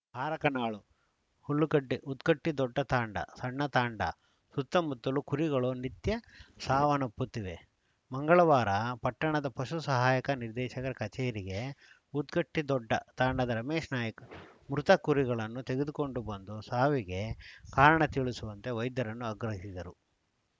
ಹಾರಕನಾಳು ಹುಲ್ಲಿಕಟ್ಟಿ ಉದ್ಗಟ್ಟಿದೊಡ್ಡ ತಾಂಡ ಸಣ್ಣ ತಾಂಡ ಸುತ್ತಮುತ್ತಲು ಕುರಿಗಳು ನಿತ್ಯ ಸಾವನ್ನಪ್ಪುತ್ತಿವೆ ಮಂಗಳವಾರ ಪಟ್ಟಣದ ಪಶು ಸಹಾಯಕ ನಿರ್ದೇಶಕರ ಕಚೇರಿಗೆ ಉದ್ಗಟ್ಟಿದೊಡ್ಡ ತಾಂಡದ ರಮೇಶನಾಯ್ಕ ಮೃತ ಕುರಿಗಳನ್ನು ತೆಗೆದುಕೊಂಡು ಬಂದು ಸಾವಿಗೆ ಕಾರಣ ತಿಳಿಸುವಂತೆ ವೈದ್ಯರನ್ನು ಆಗ್ರಹಿಸಿದರು